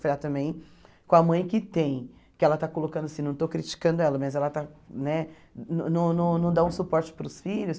Falei ah também com a mãe que tem, que ela está colocando assim, não estou criticando ela, mas ela está né não não não dá um suporte para os filhos.